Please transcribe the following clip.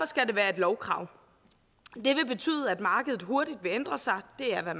skal det være et lovkrav det vil betyde at markedet hurtigt vil ændre sig det er det